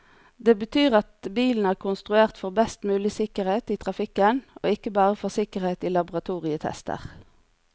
Det betyr at bilen er konstruert for best mulig sikkerhet i trafikken, og ikke bare for sikkerhet i laboratorietester.